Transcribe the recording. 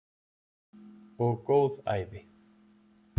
Og góð ævi.